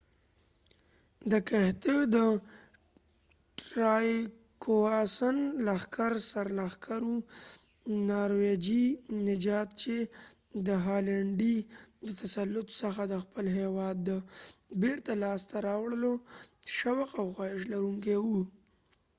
ټرایګواسن trygvassonد کښتیو د لښکر سر لښکر و ، نارويژی norvegian نژاد چې د هالنډی danish د تسلط څخه د خپل هیواد د بیرته لاس ته راوړلو شوق او خواهش لرونکې و